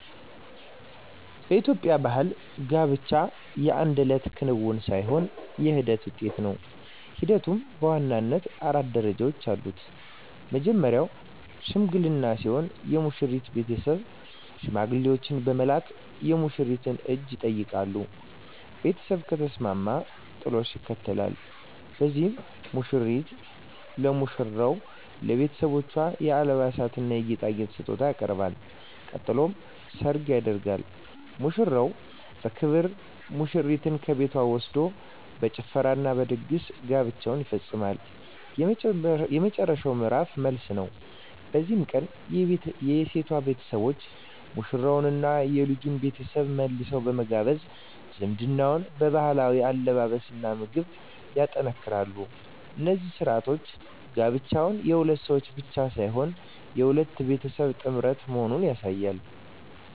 በኢትዮጵያ ባሕል ጋብቻ የአንድ እለት ክንውን ሳይሆን የሂደት ውጤት ነው። ሂደቱም በዋናነት አራት ደረጃዎች አሉት። መጀመርያው "ሽምግልና" ሲሆን፣ የሙሽራው ቤተሰብ ሽማግሌዎችን በመላክ የሙሽሪትን እጅ ይጠይቃሉ። ቤተሰብ ከተስማማ "ጥሎሽ" ይከተላል፤ በዚህም ሙሽራው ለሙሽሪትና ለቤተሰቦቿ የአልባሳትና የጌጣጌጥ ስጦታ ያቀርባል። ቀጥሎ "ሰርግ" ይደረጋል፤ ሙሽራው በክብር ሙሽሪትን ከቤቷ ወስዶ በጭፈራና በድግስ ጋብቻው ይፈጸማል። የመጨረሻው ምዕራፍ "መልስ" ነው። በዚህ ቀን የሴቷ ቤተሰቦች ሙሽሮቹንና የልጁን ቤተሰብ መልሰው በመጋበዝ ዝምድናውን በባህላዊ አለባበስና ምግብ ያጠናክራሉ። እነዚህ ሥርዓቶች ጋብቻው የሁለት ሰዎች ብቻ ሳይሆን የሁለት ቤተሰቦች ጥምረት መሆኑን ያሳያሉ።